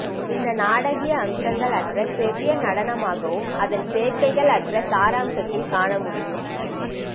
இந்த நாடகீய அம்சங்கள் அற்ற செவ்விய நடனமாகவும் அதன் சேர்க்கைகள் அற்ற சாராம்சத்தில் காணமுடியும்